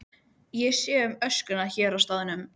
Ég þurfti aldrei aftur að hræðast þennan mann.